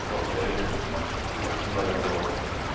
во-вторых максимально долго